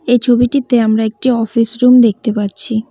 এই ছবিটিতে আমরা একটি অফিস রুম দেখতে পাচ্ছি।